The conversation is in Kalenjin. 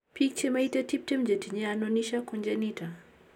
Biik chemaite 20 chetinye anonychiacongenita ko